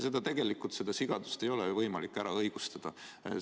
Seda sigadust tegelikult ei ole võimalik õigustada.